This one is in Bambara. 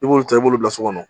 I b'o ta i b'olu bila so kɔnɔ